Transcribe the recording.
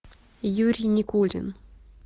юрий никулин